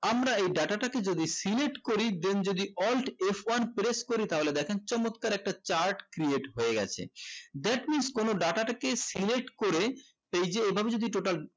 আমরা এ data টাকে যদি select করি then যদি alt f one press করি তাহলে দেখেন চমৎকার একটা chart creat হয়ে গেছে that means কোনো data টাকে select করে এই যে এইভাবে যদি total